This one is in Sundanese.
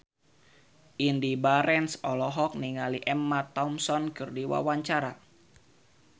Indy Barens olohok ningali Emma Thompson keur diwawancara